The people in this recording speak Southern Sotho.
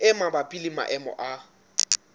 e mabapi le maemo a